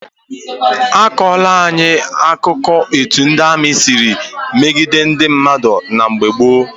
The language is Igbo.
A kọọla anyị akụkọ etu ndị amị siri megide ndị mmadụ na mgbe gboo.